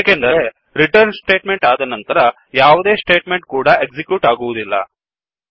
ಏಕೆಂದರೆreturnರಿಟರ್ನ್ statement ಆದ ನಂತರ ಯಾವುದೇ ಸ್ಟೇಟ್ ಮೆಂಟ್ ಕೂಡಾ ಎಕ್ಸಿಕ್ಯೂಟ್ ಆಗುವದಿಲ್ಲ